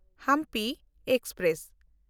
Hampi express